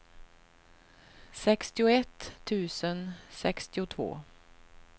sextioett tusen sextiotvå